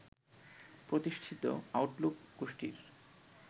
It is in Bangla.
প্রতিষ্ঠিত আউটলুক গোষ্ঠীর